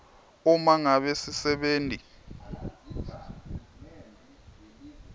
uma ngabe sisebenti